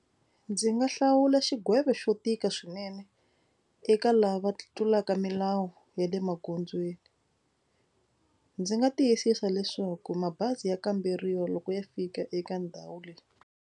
Ndzi nga hlawula xigwevo xo tika swinene eka lava tlulaka milawu ya le magondzweni. Ndzi nga tiyisisa leswaku mabazi ya kamberiwa loko ya fika eka ndhawu leyi.